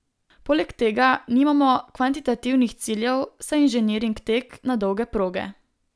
Poleg tega nimamo kvantitativnih ciljev, saj je inženiring tek na dolge proge.